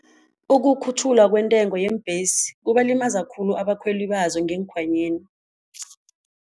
Ukukhutjhulwa kwentengo yeembhesi kubalimaza khulu abakhweli bazo ngeenkhwanyeni.